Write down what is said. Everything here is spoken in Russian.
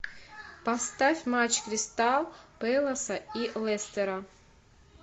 поставь матч кристал пэласа и лестера